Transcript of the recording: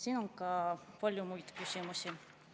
Siin on ka palju muid küsimusi.